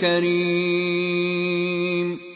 كَرِيمٌ